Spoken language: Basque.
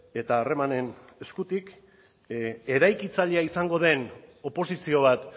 eta harremanen eskutik eraikitzailea izango den oposizio bat